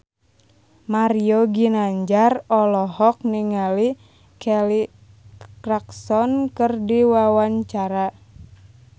Mario Ginanjar olohok ningali Kelly Clarkson keur diwawancara